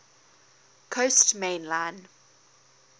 coast main line